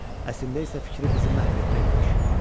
Əslində isə fikri bizi məhv etmək imiş.